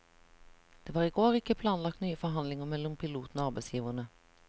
Det var i går ikke planlagt nye forhandlinger mellom pilotene og arbeidsgiverne.